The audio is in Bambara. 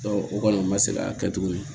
o kɔni o ma se ka kɛ tuguni